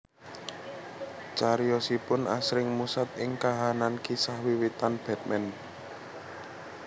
Cariyosipun asring musat ing kahanan kisah wiwitan Batman